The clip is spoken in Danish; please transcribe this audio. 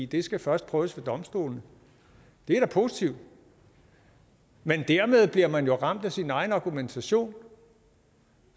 det skal først prøves ved domstolene det er da positivt men dermed bliver man jo ramt af sin egen argumentation